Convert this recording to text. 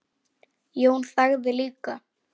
Jón þagði líka.